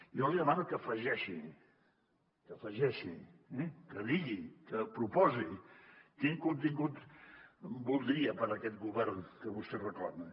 jo li demano que afegeixi que afegeixi que digui que proposi quin contingut voldria per aquest govern que vostè reclama